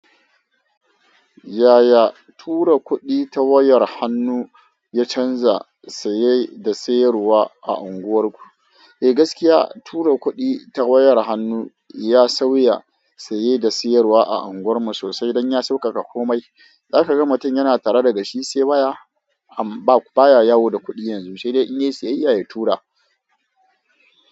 Yaya tura kuɗi ta wayar hannu ya canza saye da sayarwa a unguwarku? Eh gaskiya tura kuɗi ta wayar hannu ya sauya saye da sayarwa a unguwarmu sosai don ya sauƙaƙa komai. Za ka ga mutum yana tare da shi sai baya baya yawo da kuɗi yanzu sai dai in yi sayayya ya tura.